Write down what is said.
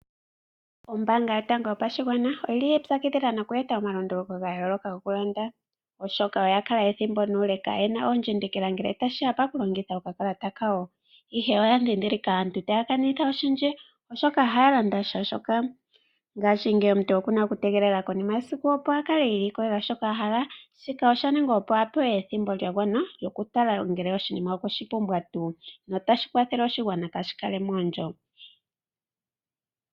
Ombaanga yotango yopashigwana oyili yiipyakidhila noye eta omalunduluko gayooloka gokulanda, oshoka oyakala ethimbo nuule kaayena oondjindikila ngele tashi ya paku longitha okakalata kawo . Oya ndhindhililka aantu taya kanitha oshindji oshoka ohaya landa shaashoka. Ngaashingeyi omuntu okuna okutegelela konima yesiku opo ilikolela shoka ahala. Shika oshaningwa opo apewe ethimbo lyagwana lyokutala oshinima ngele okweshi pumbwa tuu, notashi kwatha oshigwana opo kaashi kale moondjo.